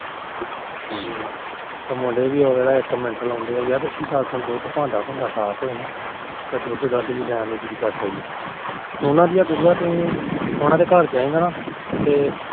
ਤੇ ਮੁਡੇ ਵੀ ਦੇਖ ਲਾ ਇੱਕ ਮਿੰਟ ਲਾਦੇ ਤੁੰ ਦੇਖ ਯਾਰ ਭਾਂਡਾ ਭੁੰਡਾ ਸਾਫ ਹੋਵੇ ਨਾ ਦੁਧ ਦਾਧ ਲੈਣ ਨੂੰ ਵੀ ਜੀਅ ਕਰਦਾ ਹੀ ਉਹਨਾ ਦੇ ਗੁਰੂਆ ਨੂੰ ਉਹਨਾ ਦੇ ਘਰ ਜਾਏਗਾ ਨਾ ਤੇ